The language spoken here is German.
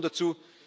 Gratulation